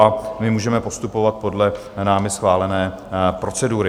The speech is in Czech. A my můžeme postupovat podle námi schválené procedury.